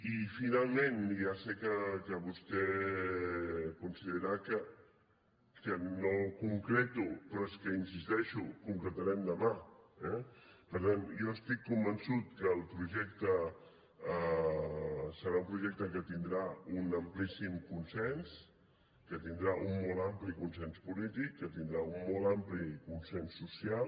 i finalment i ja sé que vostè considerarà que no concreto però és que hi insisteixo ho concretarem demà eh per tant jo estic convençut que el projecte serà un projecte que tindrà un amplíssim consens que tindrà un molt ampli consens polític que tindrà un molt ampli consens social